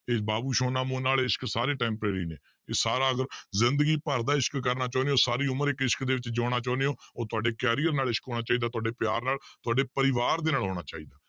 ਇਹ ਬਾਬੂ ਸੋਨਾ ਮੋਨਾ ਵਾਲੇ ਇਸ਼ਕ ਸਾਰੇ temporary ਨੇ ਸਾਰਾ ਕੁਛ ਜ਼ਿੰਦਗੀ ਭਰ ਦਾ ਇਸ਼ਕ ਕਰਨਾ ਚਾਹੁਨੇ ਹੋ ਸਾਰੀ ਉਮਰ ਇੱਕ ਇਸ਼ਕ ਦੇ ਵਿੱਚ ਜਿਉਣਾ ਚਾਹੁੰਦੇ ਹੋ ਉਹ ਤੁਹਾਡੇ career ਨਾਲ ਇਸ਼ਕ ਹੋਣਾ ਚਾਹੀਦਾ ਤੁਹਾਡੇ ਪਿਆਰ ਨਾਲ, ਤੁਹਾਡੇ ਪਰਿਵਾਰ ਦੇ ਨਾਲ ਹੋਣਾ ਚਾਹੀਦਾ।